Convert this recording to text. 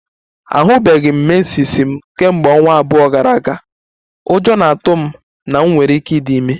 Ahụbeghị m menses m kemgbe ọnwa abụọ gara aga, ụjọ na-atụ m na m nwere ike ịdị ime